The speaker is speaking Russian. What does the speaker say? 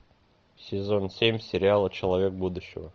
сезон семь сериала человек будущего